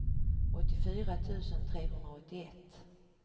åttiofyra tusen trehundraåttioett